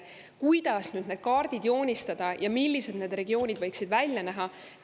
Kuidas need kaardid joonistada ja millised need regioonid võiksid välja näha?